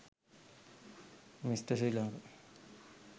mr sri lanka